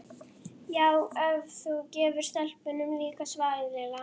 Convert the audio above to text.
Já, ef þú gefur stelpunum líka svaraði Lilla.